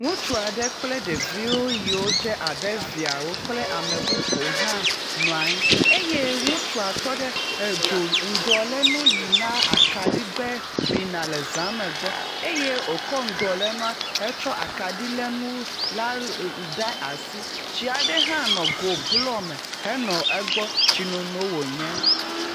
Ŋutsua aɖe kple ɖeviwo yie wo dze abe viawo kple amebubuwo hã nɔa anyi eye ŋutsua tɔ ɖe edzo ŋdɔlenu yi na akadigbe bina le zã gbɔ eye wokɔ ŋdɔlenua hetsɔ akadilenu la ɖe asi. Tsia ɖe hã nɔ gobloa me henɔ egbɔ. Tsinono wonye.